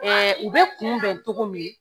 u bɛ kunbɛn togo min